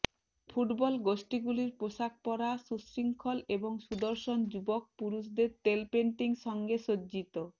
football গোষ্ঠীগুলির পোশাক পরা সুশৃঙ্খল এবং সুদর্শন যুবক পুরুষদের তেল পেইন্টিং সঙ্গে সজ্জিত